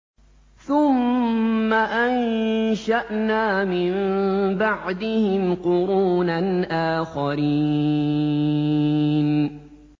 ثُمَّ أَنشَأْنَا مِن بَعْدِهِمْ قُرُونًا آخَرِينَ